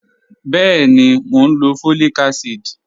Bẹẹni, mọ̀ n lọ fọ́líìkà àsídì